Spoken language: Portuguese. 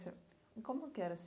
como que era esse